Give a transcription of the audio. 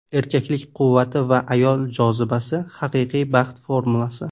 Erkaklik quvvati va ayollik jozibasi – haqiqiy baxt formulasi.